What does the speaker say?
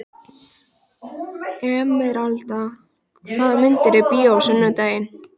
Emeralda, hvaða myndir eru í bíó á sunnudaginn?